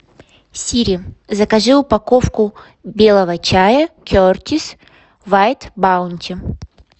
сири закажи упаковку белого чая кертис вайт баунти